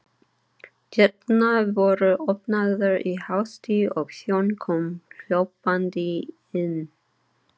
Dyrnar voru opnaðar í hasti og þjónn kom hlaupandi inn.